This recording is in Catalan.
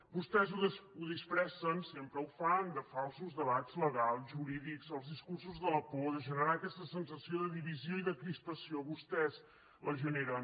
vostès ho disfressen sempre ho fan de falsos debats legals jurídics els discursos de la por deixant anar aquesta sensació de divisió i de crispació vostès la generen